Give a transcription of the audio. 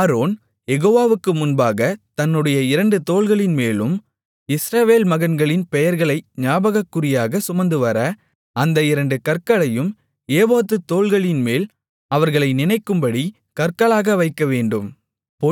Aaron யெகோவாவுக்கு முன்பாகத் தன்னுடைய இரண்டு தோள்களின்மேலும் இஸ்ரவேல் மகன்களின் பெயர்களை ஞாபகக்குறியாகச் சுமந்துவர அந்த இரண்டு கற்களையும் ஏபோத்து தோள்களின்மேல் அவர்களை நினைக்கும்படி கற்களாக வைக்கவேண்டும்